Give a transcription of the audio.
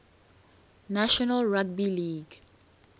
national rugby league